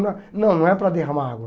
Não, não é para derramar água.